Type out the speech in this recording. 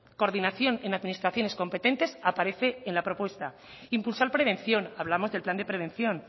coordinación en administraciones competentes aparece en la propuesta impulsar prevención hablamos del plan de prevención